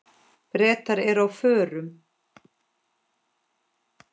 Bretar eru á förum.